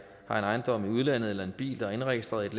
har en ejendom i udlandet eller en bil der er indregistreret